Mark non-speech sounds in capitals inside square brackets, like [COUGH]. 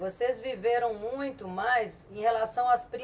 Vocês viveram muito mais em relação às primas [UNINTELLIGIBLE]